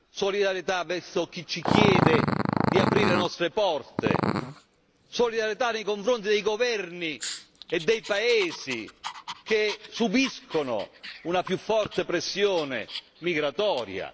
Solidarietà verso chi ci chiede di aprire le nostre porte, solidarietà nei confronti dei governi e dei Paesi che subiscono una più forte pressione migratoria.